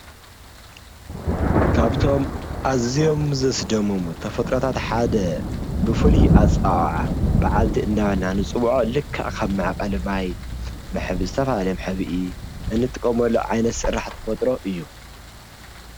ካብቶም ኣዝዮም ዘስደምሙ ተፈጥሮታት ሓደ ብፍሉይ ኣፀዋውዓ ባዓልቲ ኢልና ንፅውዖ ልክዕ ከም መዕቐሊ ማይ ዝተፈላለየ መሕብኢ ንጥቀመሉ ዓይነት ስራሕ ተፈጥሮ እዩ፡፡